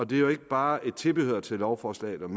det er jo ikke bare et tilbehør til lovforslaget om